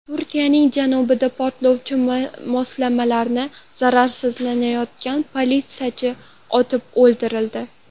Turkiyaning janubida portlovchi moslamani zararsizlantirayotgan politsiyachi otib o‘ldirildi.